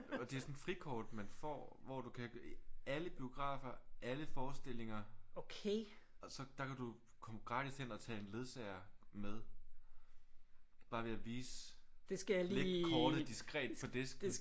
Og det er sådan et frikort man får hvor du kan alle biografer alle forestillinger så der kan du komme gratis ind og tage en ledsager med. Bare ved at vise lægge kortet diskret på disken